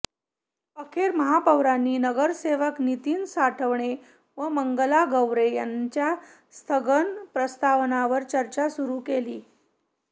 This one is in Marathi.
अखेर महापौरांनी नगरसेवक नितीन साठवणे व मंगला गवरे यांच्या स्थगन प्रस्तावावर चर्चा सुरु केली